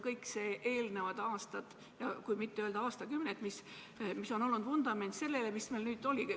Kõik eelnevad aastad, kui mitte öelda aastakümned, on olnud vundament sellele, mis meil nüüd oli.